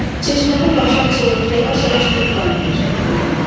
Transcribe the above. Çeşmənin başı açılıb, yavaş-yavaş neft qaynayır, dedi.